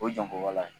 O janko wala